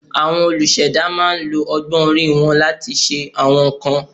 Àwọn olùṣẹ̀dá máa ń lo ọgbọ́n orí wọn láti ṣe àwọn nǹkan